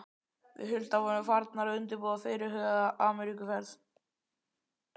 Við Hulda vorum farnar að undirbúa fyrirhugaða Ameríkuferð.